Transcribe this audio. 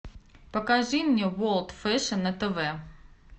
покажи мне ворлд фэшн на тв